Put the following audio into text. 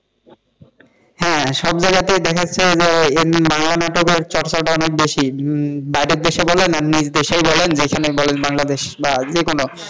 হ্যাঁ সব জায়গাতে দেখাচ্ছে যে এখন বাংলা নাটকের চর্চাটা অনেক বেশি বাইরের দেশে বলেন বা নিজের দেশেই বলেন, যেখানেই বলেন বাংলাদেশ বা যেকোন,